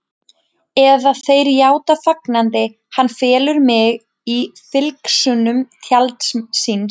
Eða þeir játa fagnandi: Hann felur mig í fylgsnum tjalds síns.